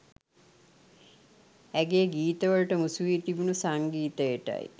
ඇගේ ගීත වල ට මුසුවී තිබුනු සංගීතයටයි